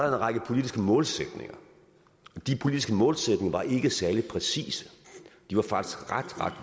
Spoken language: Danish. en række politiske målsætninger og de politiske målsætninger var ikke særlig præcise de var faktisk ret